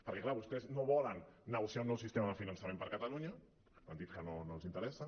perquè clar vostès no volen negociar un nou sistema de finançament per catalunya han dit que no els interessa